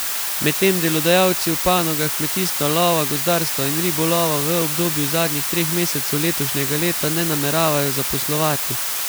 Medtem delodajalci v panogah kmetijstva, lova, gozdarstva in ribolova v obdobju zadnjih treh mesecev letošnjega leta ne nameravajo zaposlovati.